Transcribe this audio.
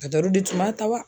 de tun b'a ta wa?